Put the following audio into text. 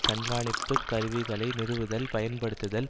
கண்காணிப்பு கருவிகளை நிறுவுதல் பயன்படுத்துதல்